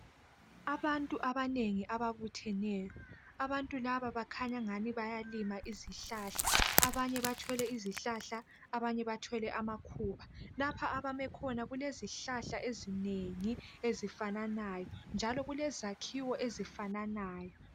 Abantu abanengi ababutheneyo abantu laba bakhanya ngani bayalima izihlahla abanye bathwele izihlahla abanye bathwele amakhuba lapha abame khona kulezihlahla ezinengi ezifananayo njalo kulezakhiwo ezifananayo